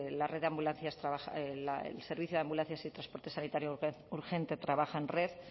la red de ambulancias el servicio de ambulancias y transporte sanitario urgente trabaja en red